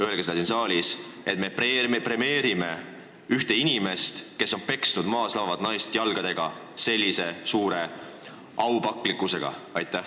Öelge seda siin saalis, et me premeerime ühte inimest, kes on peksnud maas lamavat naist jalgadega, ja kohtleme teda suure aupaklikkusega!